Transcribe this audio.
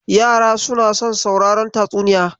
Yara suna son sauraron tatsuniya.